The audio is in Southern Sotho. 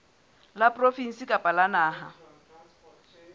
la provinse kapa la naha